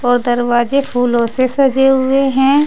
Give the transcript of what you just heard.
और दरवाजे फूलों से सजे हुए हैं।